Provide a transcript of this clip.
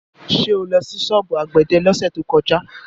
Ṣé o lọ sí ṣọ́ọ̀bù àgbẹ̀dẹ lọ́sẹ̀ tó kọjá?